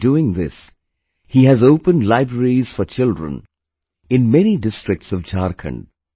While doing this, he has opened libraries for children in many districts of Jharkhand